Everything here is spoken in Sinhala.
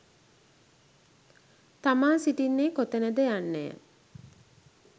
තමා සිටින්නේ කොතැනද යන්නය.